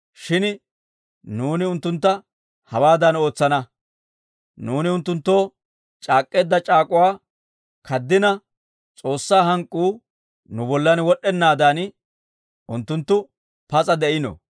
Shin nuuni unttuntta hawaadan ootsana; nuuni unttunttoo c'aak'k'eedda c'aak'uwaa kaddina S'oossaa hank'k'uu nu bollan wod'd'ennaadan, unttunttu pas'a de'ino.